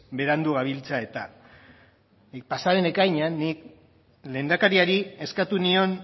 berandu gabiltza eta pasa den ekainean nik lehendakariari eskatu nion